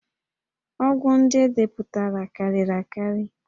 Ọgwụ ndị e depụtara karịrị akarị